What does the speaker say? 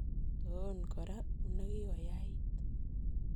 Toon kora, une kikoyait.